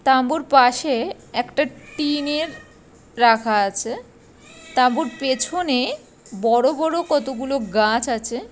তাঁবুর পাশে একটা টিনের রাখা আছে তাঁবুর পিছনে বড় বড় কতগুলো গাছ আছে।